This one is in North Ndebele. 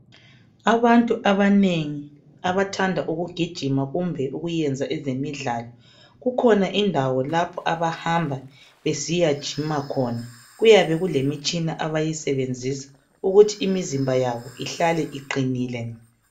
abantu abanengi abathanda ukugijima kumbe ukuyenza ezemidlalo kukhona indawo lapho abahamba besiyajima khona kuyabe kulemitshina abayisebenzisa ukuthi imizimba yabo ihlale iqinile